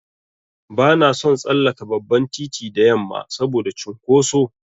Bana son tsallaka babban titi da yamma saboda cunkoso.